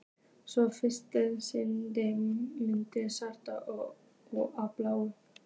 svo fyrirtækið sigli milli skers og báru.